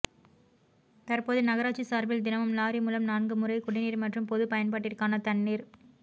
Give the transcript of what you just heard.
தற்போது நகராட்சி சார்பில் தினமும் லாரி மூலம் நான்கு முறை குடிநீர் மற்றும் பொது பயன்பாட்டிற்கான தண்ணீர்